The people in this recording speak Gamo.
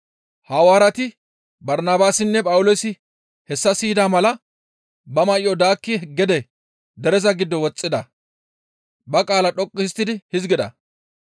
Hawaareti Barnabaasinne Phawuloosi hessa siyida mala ba may7o daakkidi gede dereza giddo woxxida; ba qaala dhoqqu histtidi hizgida;